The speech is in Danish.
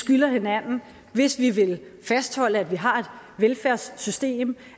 skylder hinanden hvis vi vil fastholde at vi har et velfærdssystem